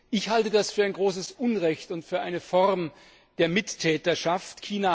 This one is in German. Ich halte das für ein großes Unrecht und für eine Form der Mittäterschaft.